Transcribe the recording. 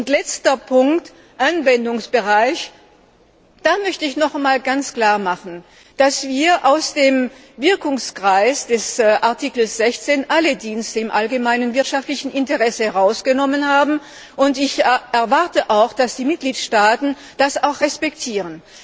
Als letzter Punkt der Anwendungsbereich Da möchte ich noch einmal ganz klar machen, dass wir aus dem Wirkungsbereich des Artikels 16 alle Dienste im allgemeinen wirtschaftlichen Interesse herausgenommen haben. Ich erwarte, dass die Mitgliedstaaten das auch respektieren.